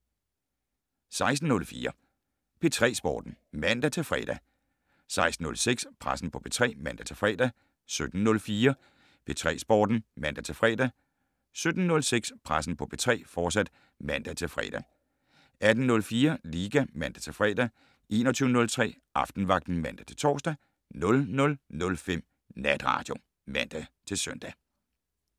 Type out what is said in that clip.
16:04: P3 Sporten (man-fre) 16:06: Pressen på P3 (man-fre) 17:04: P3 Sporten (man-fre) 17:06: Pressen på P3, fortsat (man-fre) 18:04: Liga (man-fre) 21:03: Aftenvagten (man-tor) 00:05: Natradio (man-søn)